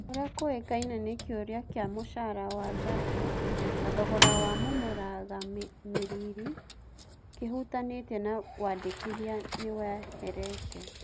ũria kũĩkaine nĩ-kĩũria kĩa mũcara wa Zacho na thogora wa mũmũragamĩrĩri kĩhutanĩtie na wandĩkithia nĩweherete.